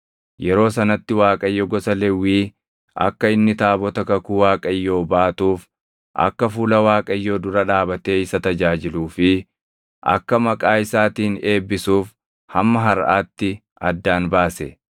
Yeroo sanatti Waaqayyo gosa Lewwii akka inni taabota kakuu Waaqayyoo baatuuf, akka fuula Waaqayyoo dura dhaabatee isa tajaajiluu fi akka maqaa isaatiin eebbisuuf hamma harʼaatti addaan baase.